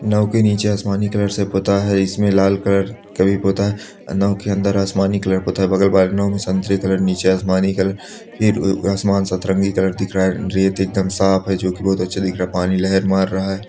नाव के नीचे आसमानी कलर का पुता है इसमें लाल कलर का भी पुता है नाव के अन्दर आसमानी कलर पुता है बगल वाले नाव मे संतरे कलर नीचे आसमानी कलर फिर आसमान संतरंगी कलर दिख रहा है रेत एकदम साफ हैं जो की बहुत अच्छे दिख रहा हैं पानी लहर मार रहा हैं।